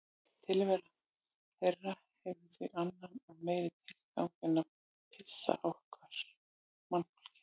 Tilvera þeirra hefur því annan og meiri tilgang en að pirra okkur mannfólkið.